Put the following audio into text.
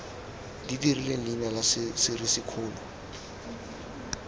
di rileng leina la serisikgolo